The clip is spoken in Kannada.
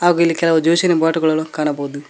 ಹಾಗು ಇಲ್ಲಿ ಕೆಲವು ಜ್ಯೂಸ್ ಇನ ಬಾಟುಗಳನ್ನು ಕಾಣಬೋದು.